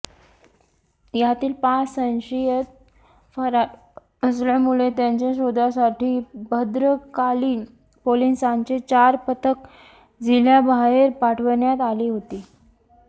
यातील पाच संशयित फरार असल्यामुळे त्यांच्या शोधासाठी भद्रकाली पोलिसांचे चार पथक जिल्ह्याबाहेर पाठवण्यात आली होती